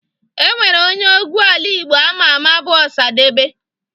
Enwere onye egwu ala Igbo ama ama bu Osadebe.